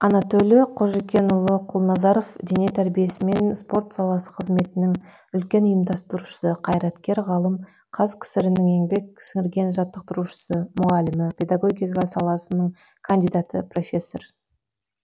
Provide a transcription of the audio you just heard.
анатөлі қожыкенұлы құлназаров дене тәрбиесімен спорт саласы қызметнің үлкен ұйымдастырушысы қайраткер ғалым қазкср інің еңбек сіңірген жаттықтырушысы мұғалімі педагогика саласының кандидаты профессор